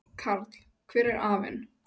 Karl: Hver er aflinn?